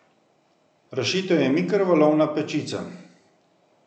Rešitev je mikrovalovna pečica.